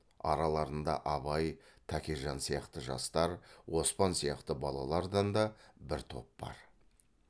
араларында абай тәкежан сияқты жастар оспан сияқты балалардан да бір топ бар